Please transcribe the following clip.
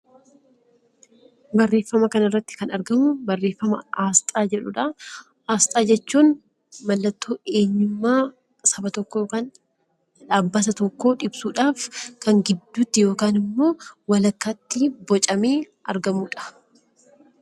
Barreeffama kana irratti kan argamu barreeffama 'Asxaa' jedhu dha. Asxaa jechuun mallattoo eenyummaa saba tokkoo yookaan dhaabbata tokkoo ibsuu dhaaf kan gidduutti yookaan immoo walakkaatti bocamee argamu dha.